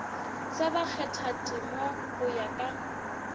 sa bakgathatema go ya ka